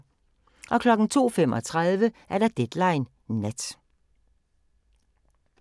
02:35: Deadline Nat